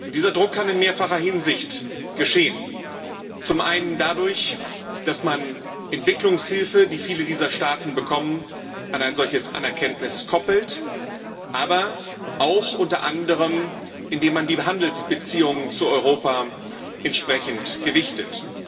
Dieser Druck kann in mehrfacher Hinsicht geschehen Zum einen dadurch, dass man Entwicklungshilfe, die viele dieser Staaten bekommen, an eine solche Anerkennung koppelt, aber auch, indem man unter anderem die Handelsbeziehungen zu Europa entsprechend gewichtet.